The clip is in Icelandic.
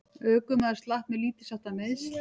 Ökumaður slapp með lítilsháttar meiðsl